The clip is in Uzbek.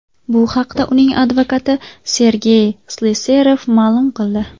Bu haqda uning advokati Sergey Slesarev ma’lum qildi .